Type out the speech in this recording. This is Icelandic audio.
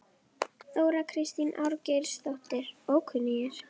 Líða og daprar lífsstundir meðal þyrna sem læsast til blóðs.